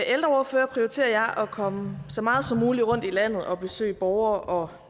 ældreordfører prioriterer jeg at komme så meget som muligt rundt i landet og besøge borgere og